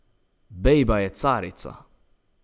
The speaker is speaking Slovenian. Bejba je carica!